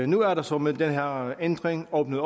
nu er der så med den her ændring åbnet